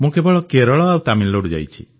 ମୁଁ କେବଳ କେରଳ ଓ ତାମିଲନାଡୁ ଯାଇଛି